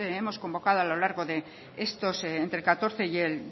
hemos convocado a lo largo de estos años entre el dos mil catorce y el